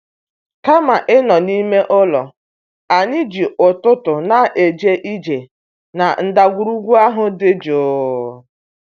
Kama ịnọ n'ime ụlọ, anyị ji ụtụtụ na-eje ije na ndagwurugwu ahụ dị jụụ.